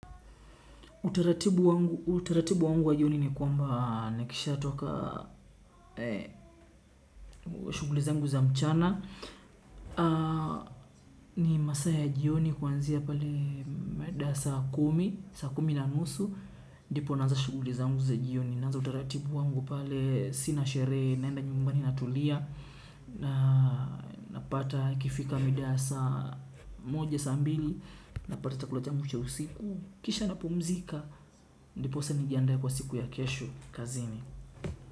Utaratibu wangu wa jioni ni kwamba nakishatoka shughuli zangu za mchana, ni masaa ya jioni kuanzia pale midaa ya saa kumi, saa kumi na nusu. Ndipo naanza shughuli zangu za jioni. Naanza utaratibu wangu pale sina sherehe, naenda nyumbani natulia napata ukifika midaa ya saa moja, saa mbili, napata chakula changu cha usiku, kisha napumzika, ndiposa nijiandae kwa siku ya kesho kazini.